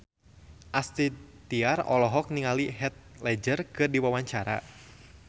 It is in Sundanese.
Astrid Tiar olohok ningali Heath Ledger keur diwawancara